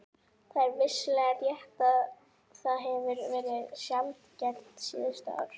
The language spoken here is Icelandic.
Það er vissulega rétt að það hefur verið sjaldgæft síðustu ár.